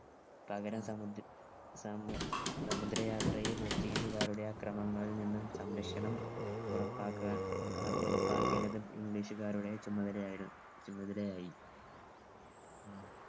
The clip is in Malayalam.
പകരം സമുദ് സമു സമുദ്രയാത്രയിൽ portuguese കാരുടെ അക്രമങ്ങളിൽ നിന്നും സംരക്ഷണം ഉറപ്പാക്കാ അഹ് ഉറപ്പാക്കേണ്ടത് english കാരുടെ ചുമതലയായിരു ചുമതലയായി